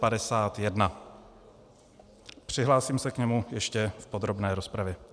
Přihlásím se k němu ještě v podrobné rozpravě.